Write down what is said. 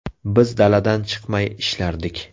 Biz daladan chiqmay ishlardik.